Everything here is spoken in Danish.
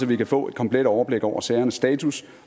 vi kan få et komplet overblik over sagernes status